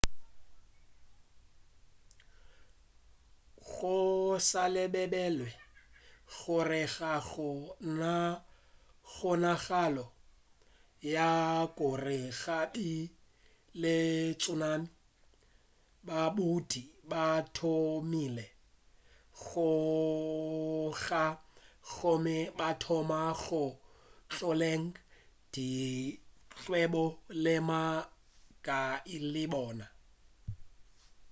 go sa lebelelwe gore ga go na kgonagalo ya gore go be le tsunami badudi ba thomile go tšhoga gomme ba thoma go tlogela dikgwebo le magae a bona